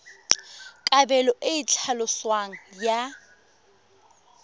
kabelo e e tlhaloswang ya